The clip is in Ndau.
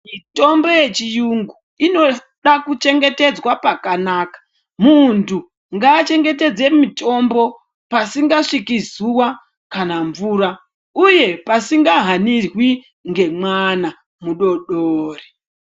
Mitombo yechiyungu inoda kuchengetedzwa pakanaka. Muntu ngaachengetedze mitombo pasikasviki zuwa kana mvura . Uye pasingahanirwi ngemwana mudodori.